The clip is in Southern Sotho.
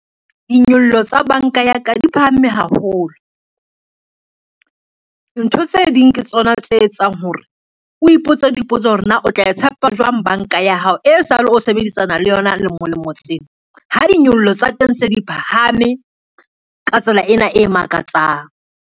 Dinyollelo tsa banka ya ka di phahame haholo. Ntho tse ding ke tsona tse etsang hore o ipotsa dipotso hore na o tla e tshepa jwang banka ya hao, e sale o sebedisana le yona lemo lemo tsena, ha di nyollo tsa teng se di phahame ka tsela ena e makatsang.